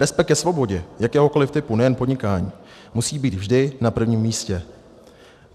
Respekt ke svobodě jakéhokoli typu, nejen podnikání, musí být vždy na prvním místě.